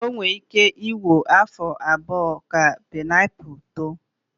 O nwere ike iwe afọ abụọ ka painiapulu too.